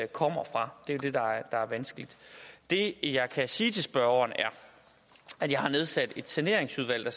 kommer fra det er det der er vanskeligt det jeg kan sige til spørgeren er at jeg har nedsat et saneringsudvalg der